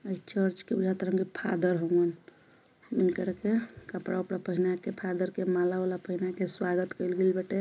यह चर्च के फादर हवे यह एकार के कपड़ा बपड़ा पहन के फादर के माला वाला पहन के स्वागत करे बांटे।